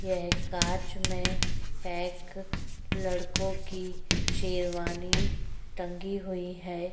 यह कांच में पैक लड़कों की शेरवानी टंगी हुई है।